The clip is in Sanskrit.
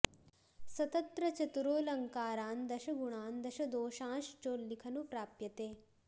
स तत्र चतुरोऽलङ्कारान् दश गुणान् दश दोषांश्चोल्लिखनु प्राप्यते